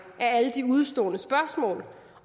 af alle de udestående spørgsmål